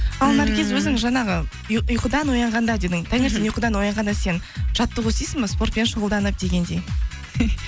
ал наргиз өзің жаңағы ұйқыдан оянғанда дедің таңертең ұйқыдан оянғанда сен жаттығу істейсің бе спортпен шұғылданып дегендей